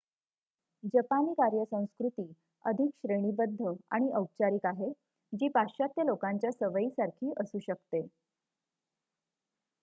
जपानी कार्य संस्कृती अधिक श्रेणीबद्ध आणि औपचारिक आहे जी पाश्चात्य लोकांच्या सवयीसारखी असू शकते